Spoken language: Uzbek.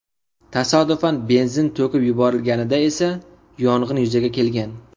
Tasodifan benzin to‘kib yuborilganida esa yong‘in yuzaga kelgan.